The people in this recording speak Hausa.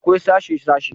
Akwai sashe -sashe